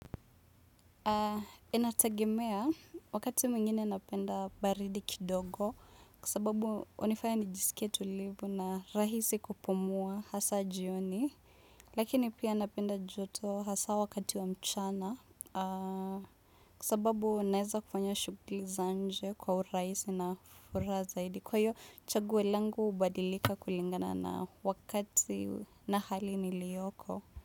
Inategemea wakati mwingine napenda baridi kidogo kwa sababu unifanya nijisikie tulivu na rahisi kupumua hasa jioni lakini pia napenda joto hasa wakati wa mchana kwa sababu naeza kufanya shuguli za nje kwa uraisi na furaha zaidi kwa hiyo chaguo langu hubadilika kulingana na wakati na hali nilioko.